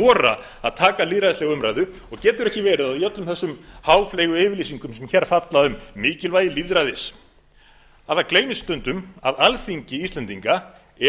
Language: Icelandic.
horft að taka lýðræðislega umræðu og getur ekki verið að í öllum þessum háfleygu yfirlýsingum sem hér falla um mikilvægi lýðræðis að það gleymist stundum að alþingi íslendinga